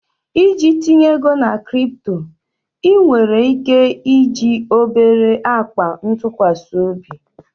Iji tinye ego na crypto, ị nwere ike iji obere akpa ntụkwasị obi?